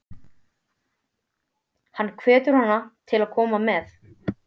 Hann hvetur hana til að koma með.